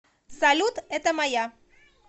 салют это моя